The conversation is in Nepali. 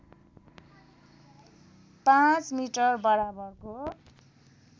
५ मिटर बराबरको